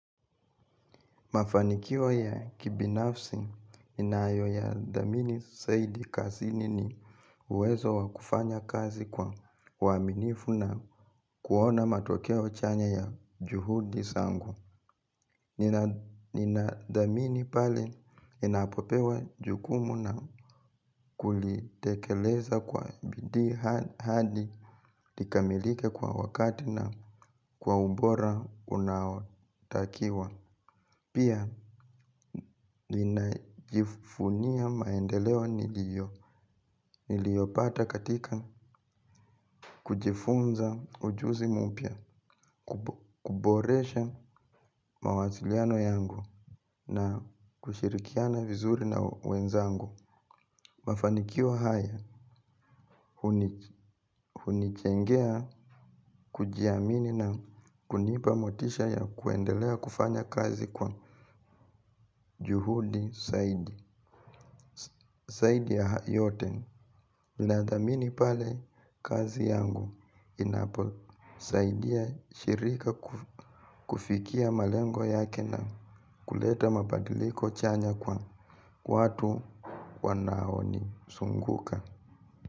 Mafanikio ya kibinafsi ninayoyadhamini saidi kazini ni uwezo wa kufanya kazi kwa uaminifu na kuona matokeo chanya ya juhudi sangu. Ninathamini pale ninapopewa jukumu na kulitekeleza kwa bidii hadi likamilike kwa wakati na kwa ubora unaotakiwa. Pia, ninajifunia maendeleo niliyopata katika kujifunza ujuzi mpya, kuboresha mawasiliano yangu na kushirikiana vizuri na wenzangu. Mafanikio haya, hunichengea kujiamini na kunipa motisha ya kuendelea kufanya kazi kwa juhudi saidi ya yote. Ninadhamini pale kazi yangu inaposaidia shirika kufikia malengo yake na kuleta mabadiliko chanya kwa watu wanaonisunguka.